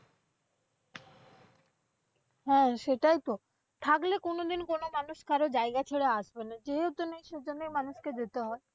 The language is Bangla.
হ্যাঁ সেটাই তো। থাকলে কোনদিন কোন মানুষ কারো যায়গা ছেড়ে আসবে না, যেহেতু নেই সেইজন্য মানুষকে যেতে হয়।